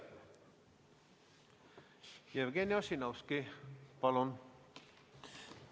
Jevgeni Ossinovski, palun!